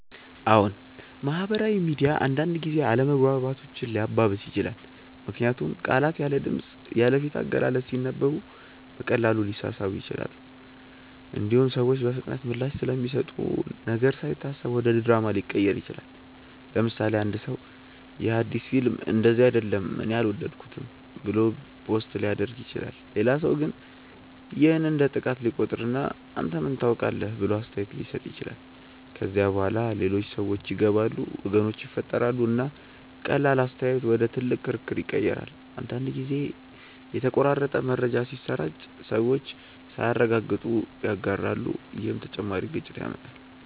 አዎን፣ ማህበራዊ ሚዲያ አንዳንድ ጊዜ አለመግባባቶችን ሊያባብስ ይችላል። ምክንያቱም ቃላት ያለ ድምፅ፣ ያለ ፊት አገላለጽ ሲነበቡ በቀላሉ ሊሳሳቡ ይችላሉ። እንዲሁም ሰዎች በፍጥነት ምላሽ ስለሚሰጡ ነገር ሳይታሰብ ወደ ድራማ ሊቀየር ይችላል። ለምሳሌ፣ አንድ ሰው “ይህ አዲስ ፊልም እንደዚህ አይደለም እኔ አልወደድኩትም” ብሎ ፖስት ሊያደርግ ይችላል። ሌላ ሰው ግን ይህን እንደ ጥቃት ሊቆጥር እና “አንተ ምን ታውቃለህ?” ብሎ አስተያየት ሊሰጥ ይችላል። ከዚያ በኋላ ሌሎች ሰዎች ይገባሉ፣ ወገኖች ይፈጠራሉ፣ እና ቀላል አስተያየት ወደ ትልቅ ክርክር ይቀየራል። አንዳንድ ጊዜም የተቆራረጠ መረጃ ሲሰራጭ ሰዎች ሳያረጋግጡ ይጋራሉ፣ ይህም ተጨማሪ ግጭት ያመጣል።